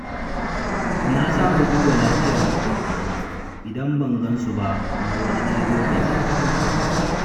Na saba duba lafiyar maƙwabtana idan ban gan su ba na wani ɗan lokaci.